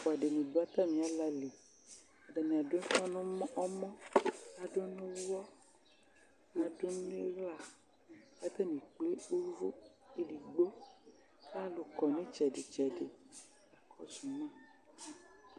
Alʋ ɛfʋa dini dʋ atami alali atani adʋ ʋfa nʋ ɔmɔ badʋ nʋ ʋwɔ kʋ adʋ nʋ iɣla kʋ atani ekple ʋwʋ edigbo akʋ alʋ kɔ nʋ itsɛdi tsɛdi kakɔsʋ ma